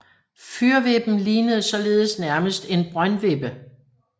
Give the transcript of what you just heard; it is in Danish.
Fyrvippen lignede således nærmest en brøndvippe